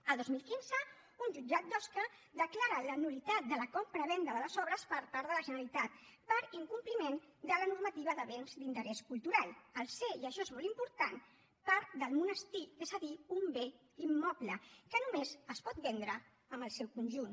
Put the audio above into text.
el dos mil quinze un jutjat d’osca declara la nul·litat de la compravenda de les obres per part de la generalitat per incompliment de la normativa de béns d’interès cultural al ser i això és molt important part del monestir és a dir un bé immoble que només es pot vendre en el seu conjunt